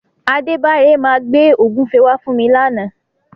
Adébára máa gbé ògúnfe wá fún mi làna.